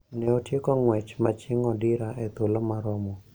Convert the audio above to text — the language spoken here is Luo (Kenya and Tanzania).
Ne otieko ng`wech ma chieng` odira e thuolo maromo